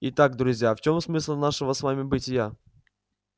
итак друзья в чем смысл нашего с вами бытия